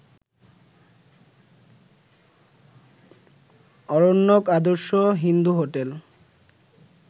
Aranyak, Adarsha Hindu hotel